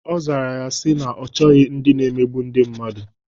Ọ zara ya sị na ya chọrọ ndị na-emegbu ndị mmadụ.